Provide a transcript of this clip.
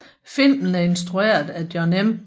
Filmen er instrueret af Jon M